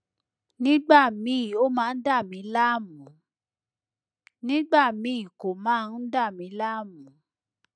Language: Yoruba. nígbà míì ó máa ń dà mí láàmú nígbà míì kò máa ń dà mí láàmú